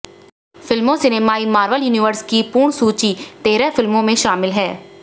फिल्मों सिनेमाई Marvel universe की पूर्ण सूची तेरह फिल्मों में शामिल हैं